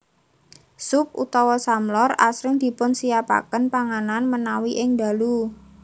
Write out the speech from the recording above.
Sup utawa samlor asring dipunsiapaken panganan menawi ing ndalu